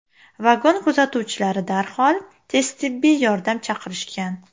Vagon kuzatuvchilari darhol tez tibbiy yordam chaqirishgan.